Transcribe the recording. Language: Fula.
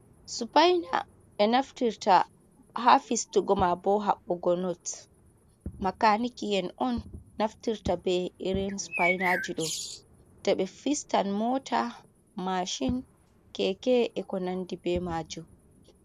Supaina ɓe naftirta ha fistugo maa bo haɓɓogo not, makaniki en on naftirta be irin supainajiɗo, to ɓe fistan mota, mashin, keke ko - ko nandi be majum.